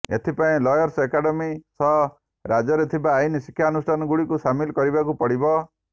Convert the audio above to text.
ଏଥିପାଇଁ lawyers academy ସହ ରାଜ୍ୟରେ ଥିବା ଆଇନ ଶିକ୍ଷାନୁଷ୍ଠାନଗୁଡିକୁ ସାମିଲ କରିବାକୁ ପଡିବ